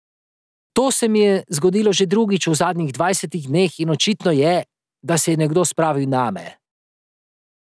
To se mi je zgodilo že drugič v zadnjih dvajsetih dneh in očitno je, da se je nekdo spravil name.